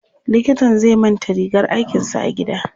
Likitan zai manta rigar aikinsa a gida.